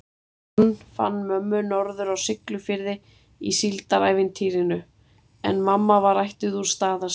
Hann fann mömmu norður á Siglufirði í síldarævintýrinu, en mamma var ættuð úr Staðarsveit.